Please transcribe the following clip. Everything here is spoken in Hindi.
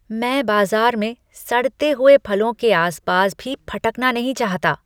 मैं बाज़ार में सड़ते हुए फलों के आस पास भी फटकना नहीं चाहता।